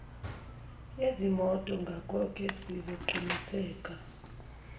yezimoto ngakoke sizoqinisekisa